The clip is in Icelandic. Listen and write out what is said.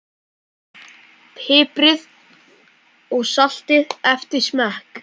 Piprið og saltið eftir smekk.